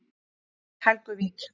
Helguvík